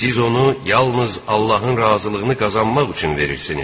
Siz onu yalnız Allahın razılığını qazanmaq üçün verirsiniz.